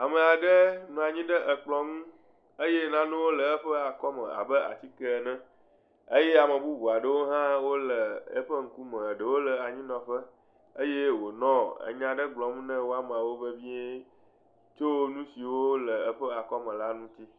Ame aɖe nɔ anyi ɖe kplɔ̃ ŋu eye nanewo le eƒe akɔme abe atikɛ ene eye ame bubu aɖewo hã wole eƒe ŋkume, ɖewo nɔ anyinɔƒe eye wonɔ enya ɖe gblɔm ne woamewo vevie tso nu siwo le eƒe akɔme la ŋuti.